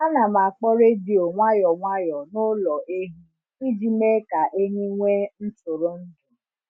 A na m akpọ redio nwayọ nwayọ n’ụlọ ehi iji mee ka ehi nwee ntụrụndụ.